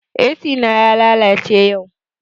Ac na ya lalace yau